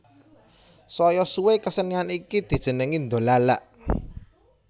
Saya suwé kesenian iki dijenengi dolalak